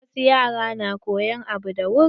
Wasu yaran na koyan abu da wuri.